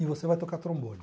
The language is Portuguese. E você vai tocar trombone.